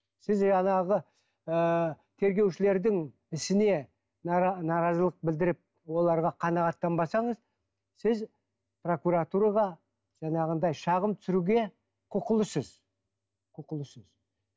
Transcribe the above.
сіз жаңағы ыыы тергеушілердің ісіне наразылық білдіріп оларға қанағаттанбасаңыз сіз прокуратураға жаңағындай шағым түсіруге құқылысыз құқылысыз